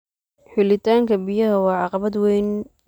Helitaanka biyaha waa caqabad weyn.